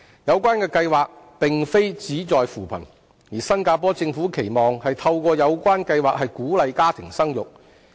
有關計劃並非旨在扶貧，新加坡政府期望透過有關計劃鼓勵家庭生育。